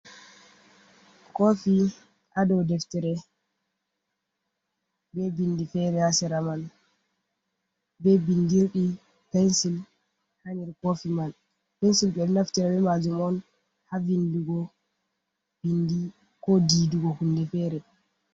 Kofi ha dou deftere, be bindi fere ha sera man, be bindirɗi pensil ha nder kofi man. Pensil ɓe naftira be maajum on ha vindugo ɓindi, ko diidugo hunde fere.